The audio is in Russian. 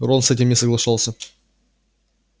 рон с этим не соглашался